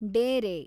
ಡೇರೆ